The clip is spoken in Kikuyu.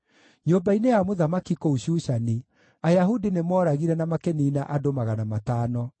Nyũmba-inĩ ya mũthamaki kũu Shushani, Ayahudi nĩmooragire na makĩniina andũ magana matano.